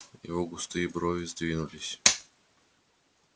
его густые брови сдвинулись